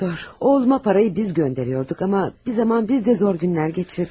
Oğluma pulu biz göndərirdik, amma bir zaman biz də çətin günlər keçirdik.